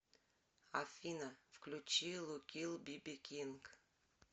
афина включи лукил биби кинг